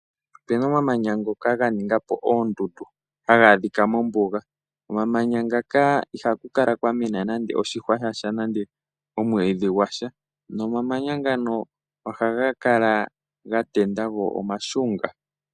Opuna omamanya gamwe ngoka ga ningapo oondundu haga adhika mombuga . Komamanya ngaka ihaku kala kwa mena nande oshihwa shasha omwiidhi gwa sha. Nomamanya ngano kala ga tenda go omashunga.